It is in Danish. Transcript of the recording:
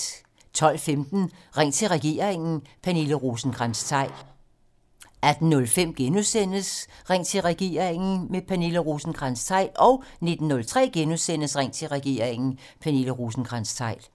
12:15: Ring til regeringen: Pernille Rosenkrantz-Theil 18:05: Ring til regeringen: Pernille Rosenkrantz-Theil * 19:03: Ring til regeringen: Pernille Rosenkrantz-Theil *